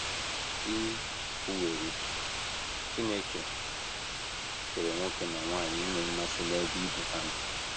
E kwuwerị, Chineke kere nwoke na nwanyị inwe mmasị n’ebe ibe ha nọ.